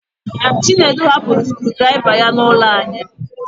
Chinedu hapụrụ scruu draiva ya n'ụlọ anyị